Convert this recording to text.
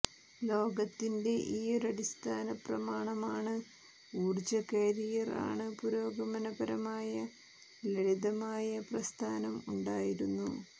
ലോകത്തിന്റെ ഈ ഒരടിസ്ഥാനപ്രമാണമാണ് ഊർജ്ജ കാരിയർ ആണ് പുരോഗമനപരമായ ലളിതമായ പ്രസ്ഥാനം ഉണ്ടായിരുന്നു